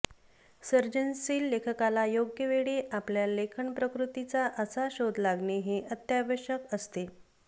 सर्जनशील लेखकाला योग्य वेळी आपल्या लेखनप्रकृतीचा असा शोध लागणे हे अत्यावश्यक असते